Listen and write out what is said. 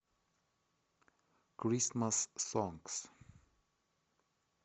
крисмас сонгс